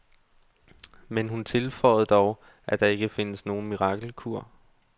Men hun tilføjer dog, at der ikke findes nogen mirakelkur.